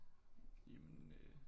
Jamen øh